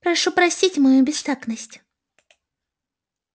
прошу простить мою бестактность